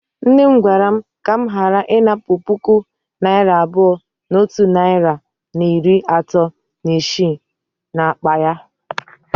Nne m gwara m ka m ghara inapu puku naira abuo na otu nari na iri ato na isii n'akpa ya.